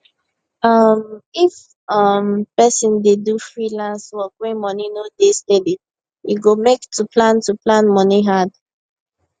um if um person dey do freelance work wey money no dey steady e go make to plan to plan moni hard